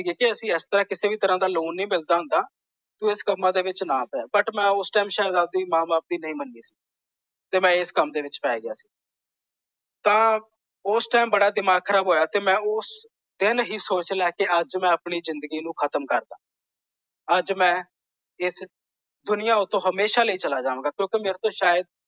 ਤਾਂ ਉਸ ਟਾਈਮ ਬੜਾ ਦਿਮਾਗ ਖ਼ਰਾਬ ਹੋਇਆ ਤੇ ਮੈਂ ਉਸ ਦਿਨ ਹੀ ਸੋਚ ਲਿਆ ਕੇ ਅੱਜ ਮੈਂ ਆਪਣੀ ਜ਼ਿੰਦਗੀ ਨੂੰ ਖਤਮ ਕਰਦਿਆਂ। ਅੱਜ ਮੈਂ ਇਸ ਦੁਨੀਆਂ ਉਤੋਂ ਹਮੇਸ਼ਾ ਲਈ ਚਲਾ ਜਾਵਾਂਗਾ।